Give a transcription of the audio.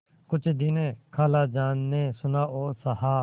कुछ दिन खालाजान ने सुना और सहा